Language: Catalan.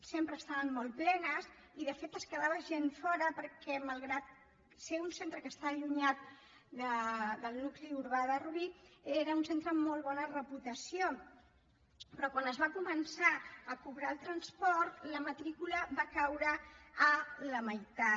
sempre estaven molt plenes i de fet en quedava gent fora perquè malgrat ser un centre que està allunyat del nucli urbà de rubí era un centre amb molt bona reputació però quan es va començar a cobrar el transport la matrícula va caure a la meitat